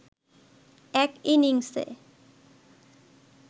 এক ইনিংসে